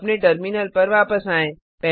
अपने टर्मिनल पर वापस आएँ